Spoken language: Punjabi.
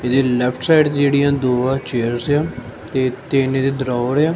ਇਹਦੇ ਲੇਫ਼੍ਟ ਸਾਈਡ ਜਿਹੜੀਆਂ ਦੋ ਆਹ ਚੇਅਰਜ਼ ਆ ਤੇ ਤਿੰਨ ਇਹਦੇ ਦ੍ਰਾਵਰ ਆ।